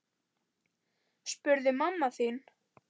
spurði mamma þín.